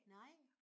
Nej